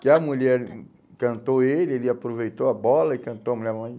Que a mulher cantou ele, ele aproveitou a bola e cantou a mulher.